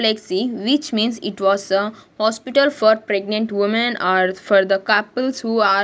Flexi which means it was a hospital for pregnant women or for the couples who are --